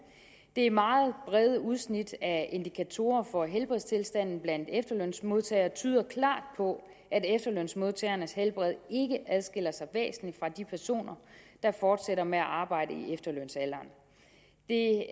det meget brede udsnit af indikatorer for helbredstilstanden blandt efterlønsmodtagere tyder klart på at efterlønsmodtagernes helbred ikke adskiller sig væsentligt fra de personer der fortsætter med at arbejde i efterlønsalderen det